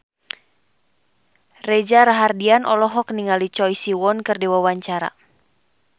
Reza Rahardian olohok ningali Choi Siwon keur diwawancara